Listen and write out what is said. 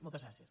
moltes gràcies